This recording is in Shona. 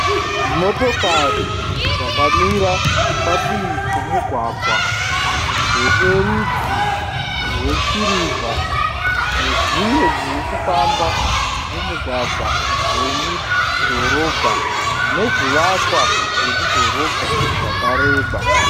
Motokari dzakamira padivi pomugwagwa. Dzine rudzi rwesirivha nedzimwe dziri kufamba mumugwagwa wemudhorobha nezvivakwa zvemudhorobha zvakareba.